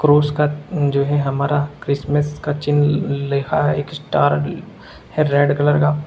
उसका जो है हमारा क्रिसमस का चिन्ह लि लिखा है एक स्टार है रेड कलर का--